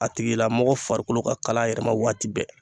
A tigilamɔgɔ farikolo ka kala a yɛrɛ ma waati bɛɛ.